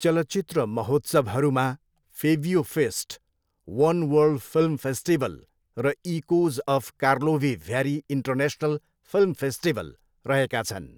चलचित्र महोत्सवहरूमा Febiofest, One World Film Festival र Echoes of Karlovy Vary International Film Festival रहेका छन्।